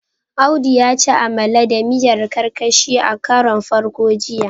Audu ya ci amala da miyar karkashi a karon farko jiya